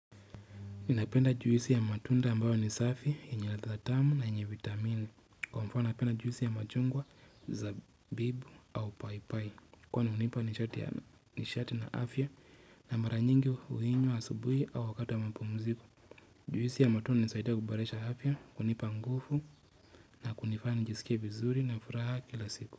Napenda juisi ya matunda ambayo ni safi, yenye ladha tamu na yenye vitamini. Kwa mfano napenda juisi ya machungwa, zabibu au paipai. Kwani hunipa nishati na afya na mara nyingi huinywa asubuhi au wakati wa mapumziko. Juisi ya matunda nisaida kuboresha afya, kunipa nguvu na kunifaa nijisikie vizuri na furaha kila siku.